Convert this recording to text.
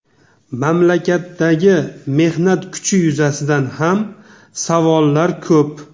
Mamlakatdagi mehnat kuchi yuzasidan ham savollar ko‘p.